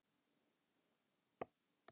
Líflegt í skíðabrekkunum í Skarðsdal